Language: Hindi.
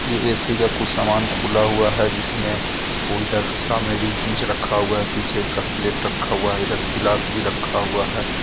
यह ऐ_सी का कुछ सामान खुला हुआ है जिसमें वो इधर सामने रखा हुआ है पीछे इसका प्लेट रखा हुआ है इधर प्लास भी रखा हुआ है.